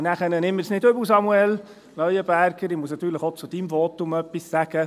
Und dann – nimm es mir nicht übel, Samuel Leuenberger – muss ich natürlich auch zu deinem Votum etwas sagen.